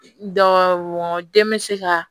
Dɔ wɔ den bɛ se ka